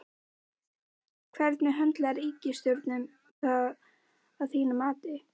Heimir Már Pétursson: Hvernig höndlar ríkisstjórnin það að þínu mati?